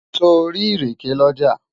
sò rí ìrèké l'ọja?